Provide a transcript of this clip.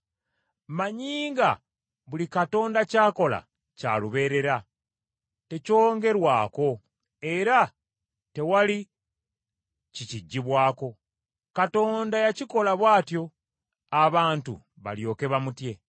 Mmanyi nga buli Katonda ky’akola kya lubeerera; tekyongerwako, era tewali kikijjibwako. Katonda yakikola bw’atyo, abantu balyoke bamutye.